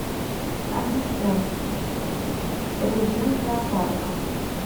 ассистент режим зоопарков